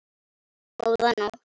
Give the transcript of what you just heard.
Góða nótt.